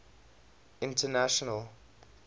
international